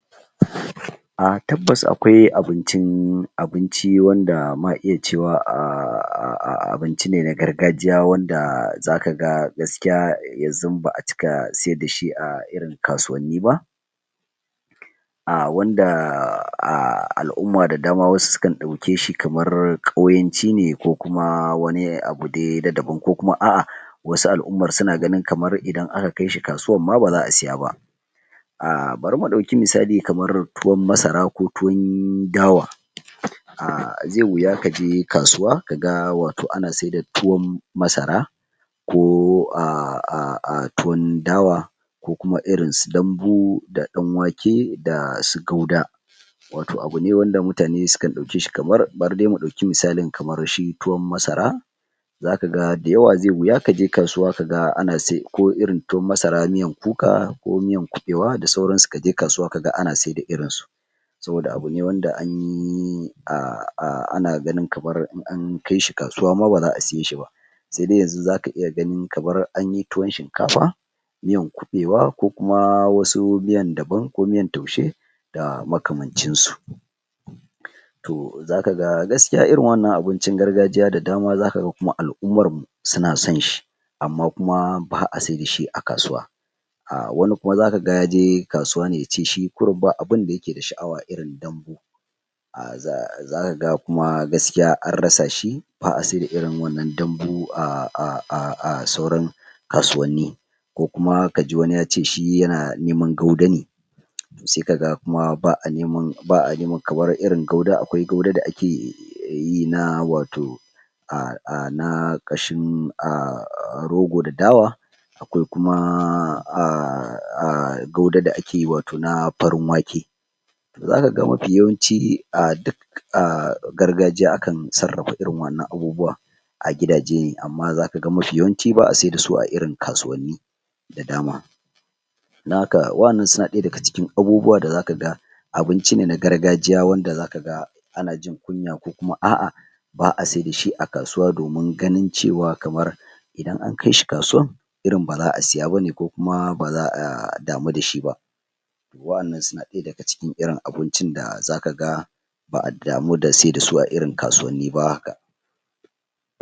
A tabbas akwai abincin abinci ma iya cewa um abincine na gargajiya wanda zaka ga gaskiya gaskiya yanzun baʼa cika siyar dashi a irin kasuwanni ba wanda alʼuma da dama sukan dauke shi kaman kauyancine ko kuma wani abune na daban wasu alʼumar sunaga idan aka kaishi kasuwar ma bazaʼasiya ba bari mu ɗauki misali kamar tuwon masara ko tuwon dawa, ze wuya kaje kasuwa kaga wato ana seda tuwon masara ko tuwun dawa ko kuma irinsu Dambu, Ɗan wake dasu gauda wato abune wanda mutane suka ɗauke shi, bari dai mu dauki misali kamar tuwon masara zakaga da yawa zeyi wuya kaje kasuwa kaga ana siyar da da koirin tuwon masara miyar kuka ko miyar kuɓewa da sauransu kaje kasuwa kaga ana seda irinsu kamar yanda abune in anyi anaga ma in aka kai kasuwa ma bazaʼa siye shiba sedai yanzu zaka iya gani kamar anyi tuwon shinkafa miyan kuɗewa ko kuma wasu miyan daban ko miyan taushe da makamancin su to zakaga ,gaskiya irin waɗannan abincin gargajiya zakaga alʼumarmu suna son shi amman baʼa seda shi a kasuwa wani kuma zakaga yaje kasuwa ne yace shi ba abinda yakeda shaʼawa irnindambu zakaga kuma an rasa shi baʼa seda irin wannan dambu a... kasuwanni ko kuma kaji wani yace yana neman gauda ne se kaga kuma baʼa neman gauda kamar akwai irin gaudar da ake yina wato na kashin Rogo da Dawa akwai kuma wato gaudar da ake na farin wake zakaga mafi yawanci a duk a gargajiya akan sarrafa irin waɗannan abubuwan a gidaje amman zakaga baʼa se dasu a irin kasuwanni da dama don haka waɗannan suna ɗaya daga cikin abubuwa da zaka ga abincine na gargajiya wanda zaka ga ana jin kuya ko kuma ah ah baʼa siyar dashi a kasuwa domin ganin cewan idan an kaishi kasuwan irin baza a siya bane ko kuma ba zaʼa damu dashi ba waɗannan suna ɗaya daga cikin irin abicin da zaka ga